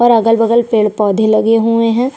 और अगल-बगल पेड़-पौधे लगे हुए है।